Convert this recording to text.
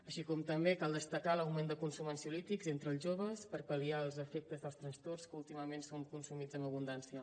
així com també cal destacar l’augment del consum d’ansiolítics entre els joves per pal·liar els efectes dels trastorns que últimament són consumits amb abundància